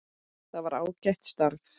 Það var ágætt starf.